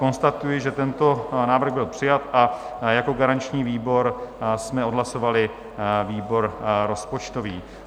Konstatuji, že tento návrh byl přijat, a jako garanční výbor jsme odhlasovali výbor rozpočtový.